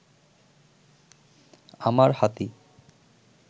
আমার হাতি